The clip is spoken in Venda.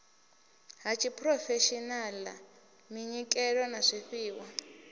ha tshiphurofeshenaḽa minyikelo ya zwifhiwa